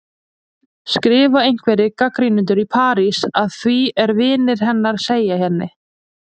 skrifa einhverjir gagnrýnendur í París, að því er vinir hennar segja henni.